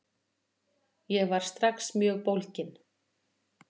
Ég var strax mjög bólginn.